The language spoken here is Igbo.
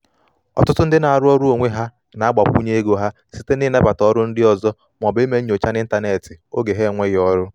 ọtụtụ ndị na-arụ ọrụ onwe ha na-agbakwunye ego ha site n’ịnabata oru ndị ọzọ ma ọ bụ ime nnyocha n’ịntanetị n’oge ha enweghị ọrụ